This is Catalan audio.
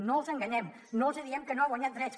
no els enganyem no els hi diem que no han guanyat drets